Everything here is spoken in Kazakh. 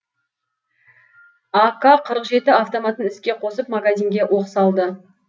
ак қырық жеті автоматын іске қосып магазинге оқ салды